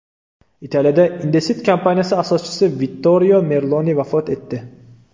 Italiyada Indesit kompaniyasi asoschisi Vittorio Merloni vafot etdi.